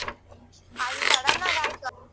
ಅದ್ sudden ಆಗ್ ಆಯ್ತು.